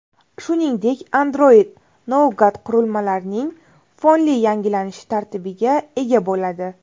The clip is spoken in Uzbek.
Shuningdek, Android Nougat qurilmalarning fonli yangilanishi tartibiga ega bo‘ladi.